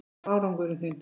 Hver var árangur þinn?